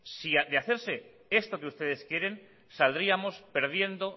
saldríamos perdiendo